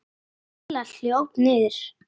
Af hverju hringdi ég ekki?